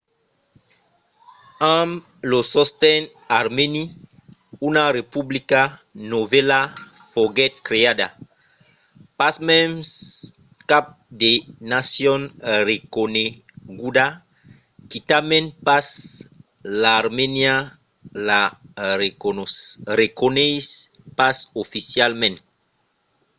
amb lo sosten armèni una republica novèla foguèt creada. pasmens cap de nacion reconeguda – quitament pas l'armènia – la reconeis pas oficialament